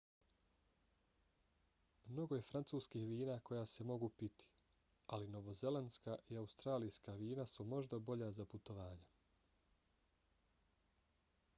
mnogo je francuskih vina koja se mogu piti ali novozelandska i australijska vina su možda bolja za putovanja